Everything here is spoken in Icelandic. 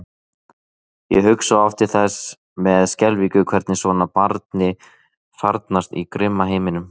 Ég hugsa oft til þess með skelfingu hvernig svona barni farnast í grimma heiminum.